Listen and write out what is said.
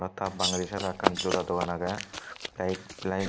ta bagaydi saedot ekan joda dogan aagay tay flite.